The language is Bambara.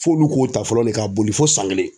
F'olu k'o ta fɔlɔ de, ka boli fo san kelen.